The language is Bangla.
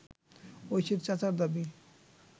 ঐশীর চাচার দাবি